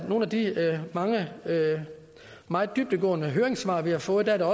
nogle af de mange meget dybdegående høringssvar vi har fået at der